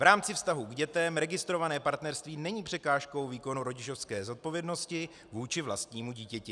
V rámci vztahu k dětem registrované partnerství není překážkou výkonu rodičovské zodpovědnosti vůči vlastnímu dítěti.